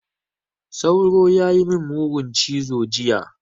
Sauro ya yi min mugun cizo jiya.